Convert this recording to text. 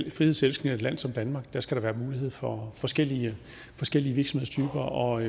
et frihedselskende land som danmark skal være mulighed for forskellige virksomhedstyper og